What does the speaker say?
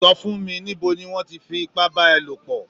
Sọ fún mí, níbo ní wọn tí f'ipa bà a lopọ?